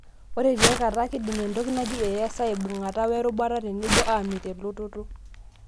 Ore tiakata, kindim entoki naji AS aibungata werubata tenebo, amit elototo.